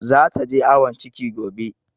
Zata je awon ciki gobe.